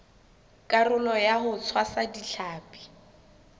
karolo ya ho tshwasa ditlhapi